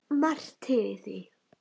Margt til í því.